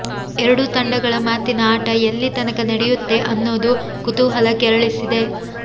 ಎರಡೂ ತಂಡಗಳ ಮಾತಿನ ಆಟ ಎಲ್ಲಿ ತನಕ ನಡೆಯುತ್ತೆ ಅನ್ನೋದು ಕುತೂಹಲ ಕೆರಳಿಸಿದೆ